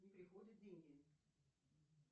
не приходят деньги